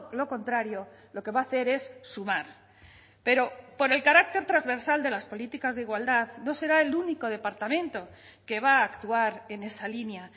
lo contrario lo que va a hacer es sumar pero por el carácter transversal de las políticas de igualdad no será el único departamento que va a actuar en esa línea